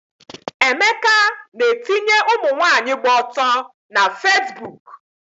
Emeka na-etinye ụmụnwaanyị gba ọtọ na Fesbuk